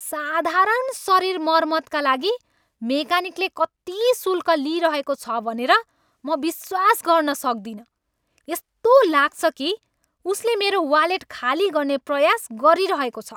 साधारण शरीर मर्मतका लागि मेकानिकले कति शुल्क लिइरहेको छ भनेर म विश्वास गर्न सक्दिन! यस्तो लाग्छ कि उसले मेरो वालेट खाली गर्ने प्रयास गरिरहेको छ।